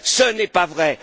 Ce n'est pas vrai!